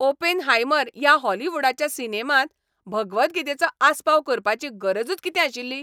"Oppenheimer" ह्या हॉलिवूडाच्या सिनेमांत भगवद्गीतेचो आस्पाव करपाची गरजूच कितें आशिल्ली?